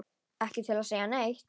Ekki til að segja neitt.